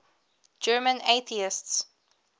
german atheists